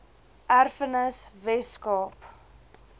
erfenis wes kaap